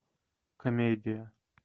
комедия